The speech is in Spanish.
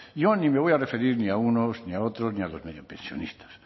yo ni me voy a referir ni a unos ni a otros ni a los mediopensionistas